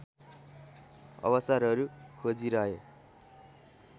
अवसरहरू खोजिरहे